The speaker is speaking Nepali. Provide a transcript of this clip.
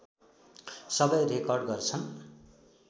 सबै रेकर्ड गर्छन्